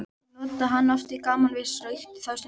Ég notaði hann oft í gamanvísur og ýkti þá stundum.